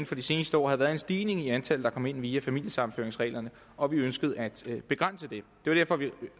for de seneste år havde været en stigning i antallet der kom ind via familiesammenføringsreglerne og vi ønskede at begrænse det det var derfor at vi